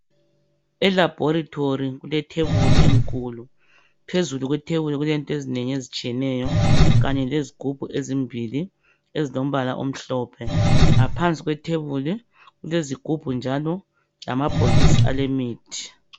Elabholitholi kwelethebuli elikhulu. Phezulu kwethebuli kulezinto ezinengi ezitshiyeneyo, kanye lezigubhu ezimbili ezilembala omhlophe. Ngaphansi kwethebuli, kulezigubhu njalo lamabhokisi alemithi.